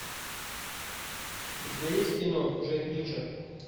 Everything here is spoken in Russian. у тебя есть кино джек ричер